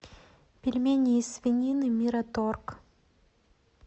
пельмени из свинины мираторг